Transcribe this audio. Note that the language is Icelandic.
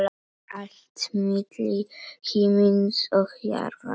Allt milli himins og jarðar.